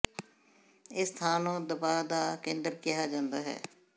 ਇਸ ਥਾਂ ਨੂੰ ਦਬਾਅ ਦਾ ਕੇਂਦਰ ਕਿਹਾ ਜਾਂਦਾ ਹੈ